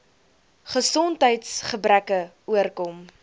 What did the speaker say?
gesondheids gebreke oorkom